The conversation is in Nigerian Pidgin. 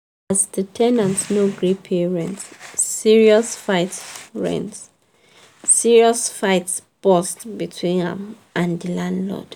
as the ten ant no gree pay rent serious fight rent serious fight burst between am and the landlord.